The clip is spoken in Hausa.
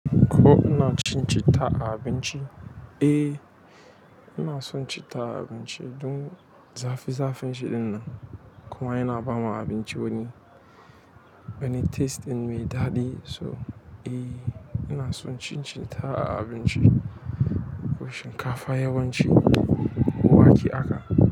Ko ina cin citta a abinci? Eh, ina son cita a abinci duk zafi zafin shi ɗinnan. Kuma yana bamu abinci wani, wani taste in me daɗi. So eh, ina son cin citta a abinci ko shinkafa yawanci ko wake haka.